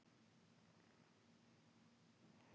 Ég myndi ekki fara eitthvert bara því liði vantar Englending.